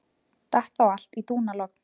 Datt þá allt í dúnalogn.